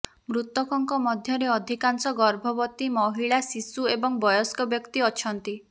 ମୃତକଙ୍କ ମଧ୍ୟରେ ଅଧିକାଂଶ ଗର୍ଭବତୀ ମହିଳା ଶିଶୁ ଏବଂ ବୟସ୍କ ବ୍ୟକ୍ତି ଅଛନ୍ତି